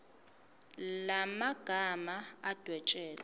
la magama adwetshelwe